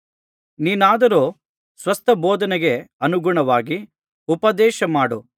ನೀನಾದರೋ ಸ್ವಸ್ಥ ಬೋಧನೆಗೆ ಅನುಗುಣವಾಗಿ ಉಪದೇಶಮಾಡು